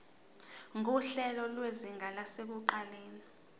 nguhlelo lwezinga lasekuqaleni